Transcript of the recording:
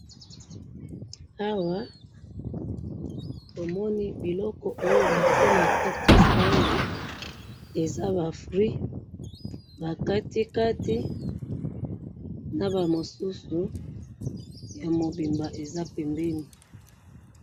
Namoni awa ba fruit ba katikati na mibimba pembeni.